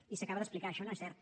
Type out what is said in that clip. i s’acaba d’explicar això no és cert